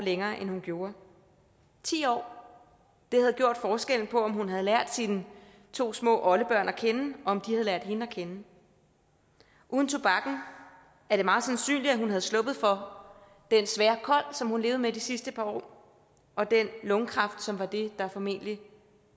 længere end hun gjorde ti år havde gjort forskellen på om hun havde lært sine to små oldebørn at kende og om de havde lært hende at kende uden tobakken er det meget sandsynligt at hun var sluppet for den svære kol som hun levede med de sidste par år og den lungekræft som var det der formentlig